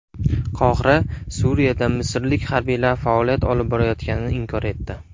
Qohira Suriyada misrlik harbiylar faoliyat olib borayotganini inkor etdi.